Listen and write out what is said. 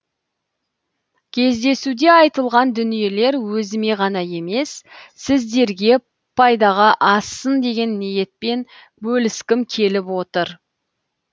кездесуде айтылған дүниелер өзіме ғана емес сіздерге пайдаға ассын деген ниетпен бөліскім келіп отыр